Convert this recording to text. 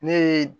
Ne ye